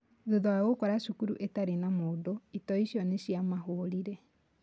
Thutha wa gũkora cukuru itarĩ na mũndũ, itoi icio nĩciamĩborire